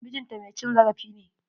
MIjin ta mai cin zarafi ne.